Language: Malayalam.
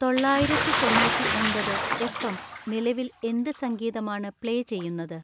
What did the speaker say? തൊള്ളായിരത്തി തൊണ്ണൂറ്റി ഒമ്പത് എഫ്. എം. നിലവിൽ എന്ത് സംഗീതമാണ് പ്ലേ ചെയ്യുന്നത്